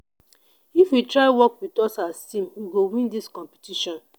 if you try work wit us as team we go win dis competition.